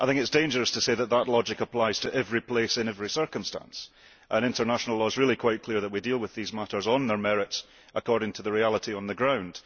I think it is dangerous to say that that logic applies to every place in every circumstance, and international law is really quite clear that we deal with these matters, on their merits, according to the reality on the ground.